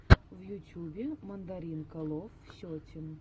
в ютюбе мандаринкалов сетин